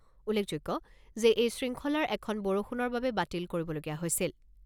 উল্লেখযোগ্য যে এই শৃংখলাৰ এখন বৰষুণৰ বাবে বাতিল কৰিবলগীয়া হৈছিল।